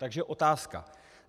Takže otázka.